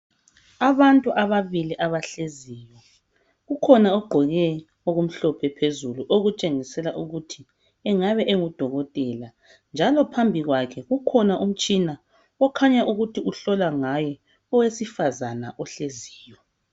Abantu ababili abahleziyo. Kukhona ogqoke okumhlophe phezulu okutshengisela ukuthi engabe engu dokotela njalo phambi kwakhe kukhona umtshina okhanya ukuthi uhlola ngaye owesifazana ohleziyo.